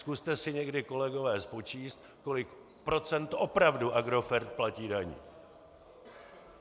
Zkuste si někdy, kolegové, spočítat, kolik procent opravdu Agrofert platí daní.